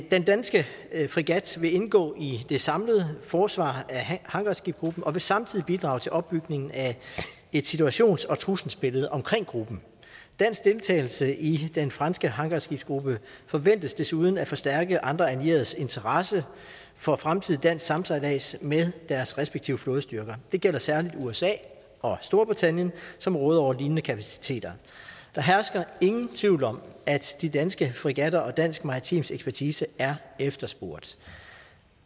den danske fregat vil indgå i det samlede forsvar af hangarskibsgruppen og vil samtidig bidrage til opbygning af et situations og trusselsbillede omkring gruppen dansk deltagelse i den franske hangarskibsgruppe forventes desuden at forstærke andre allieredes interesse for fremtidig dansk samsejlads med deres respektive flådestyrker det gælder særlig i usa og storbritannien som råder over lignende kapaciteter der hersker ingen tvivl om at de danske fregatter og dansk maritim ekspertise er efterspurgt